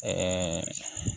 Ɛɛ